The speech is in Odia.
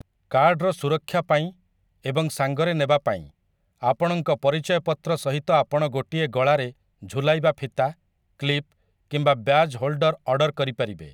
କାର୍ଡ଼ର ସୁରକ୍ଷାପାଇଁ ଏବଂ ସାଙ୍ଗରେ ନେବାପାଇଁ, ଆପଣଙ୍କ ପରିଚୟପତ୍ର ସହିତ ଆପଣ ଗୋଟିଏ ଗଳାରେ ଝୁଲାଇବା ଫିତା, କ୍ଲିପ୍‌ କିମ୍ବା ବ୍ୟାଜ୍ ହୋଲ୍‌ଡର ଅର୍ଡ଼ର କରିପାରିବେ ।